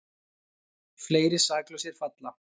Fleiri saklausir falla